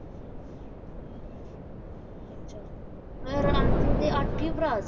ਅੱਛਾ ਮਤਲਬ ਰਾਂਝੇ ਦੇ ਅੱਠ ਹੀ ਭਰਾ ਸੀ